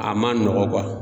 A ma nɔgɔn kuwa